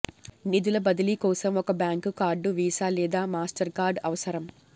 నిధుల బదిలీ కోసం ఒక బ్యాంకు కార్డు వీసా లేదా మాస్టర్కార్డ్ అవసరం